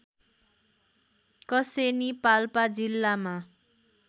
कसेनी पाल्पा जिल्लामा